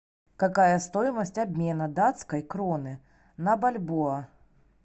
какая стоимость обмена датской кроны на бальбоа